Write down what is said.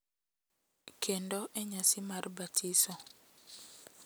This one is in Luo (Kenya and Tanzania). Kendo e nyasi mar batiso, .